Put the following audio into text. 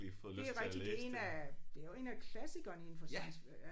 Det rigtigt det 1 af det jo 1 af klassikerne indenfor science ja